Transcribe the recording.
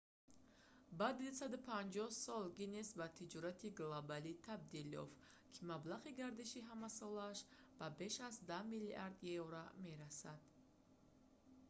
баъди 250 сол гиннес ба тиҷорати глобалие табдил ёфт ки маблағи гардиши ҳамасолааш ба беш аз 10 миллиард евро 14,7 млрд. долл. има мерасад